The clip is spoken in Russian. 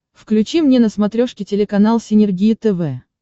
включи мне на смотрешке телеканал синергия тв